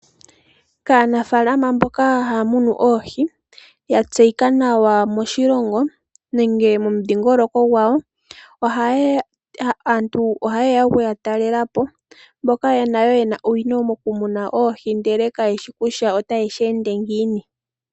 Kaanafalama mboka haya munu oohi ya tseyika nawa moshilongo nenge momudhingoloko gwawo. Aantu ohaye ya oku ya talela po mboka nayo ye na owino mokumuna oohi, ndele kaye shi kutya otaye shi ende ngiini.